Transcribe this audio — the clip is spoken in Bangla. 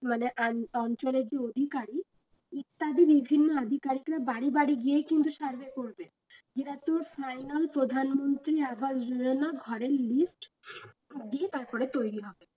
কি বলে আন অঞ্চলের যে অধিকারী বাড়ি বাড়ি গিয়ে কিন্তু survey করবে যেটা তোর প্রধানমন্ত্রী দিয়ে তারপরে তৈরি হবে